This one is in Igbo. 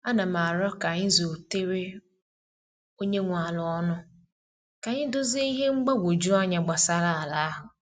A na m aro ka anyị zutere onye nwe ala ọnụ ka anyị dozie ihe mgbagwoju anya gbasara ala ahụ.